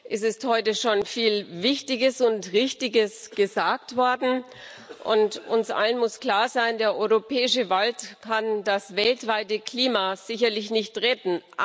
Es ist heute schon viel Wichtiges und Richtiges gesagt worden, und uns allen muss klar sein Der europäische Wald kann das weltweite Klima sicherlich nicht retten.